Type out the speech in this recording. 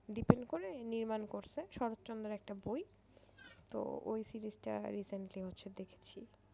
Depend করে নির্মাণ করেছে শরৎচন্দ্রের একটা বই তো ওই series টা recently হচ্ছে দেখেছি।